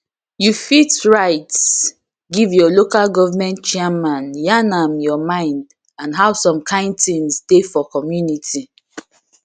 you fit write give your local goverment chairman yarn am your mind and how some kind things dey for community